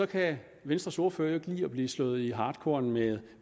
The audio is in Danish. kan venstres ordfører ikke lide at blive slået i hartkorn med